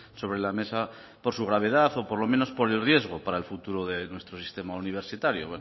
sobre la mesa por su gravedad o por lo menos pro el riesgo para el futuro de nuestro sistema universitario